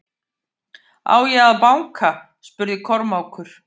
Á ég að banka spurði Kormákur.